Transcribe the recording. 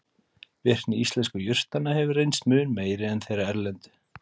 Virkni íslensku jurtanna hefur reynst mun meiri en þeirra erlendu.